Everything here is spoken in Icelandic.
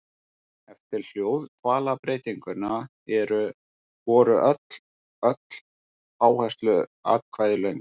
Eftir hljóðdvalarbreytinguna voru öll áhersluatkvæði löng.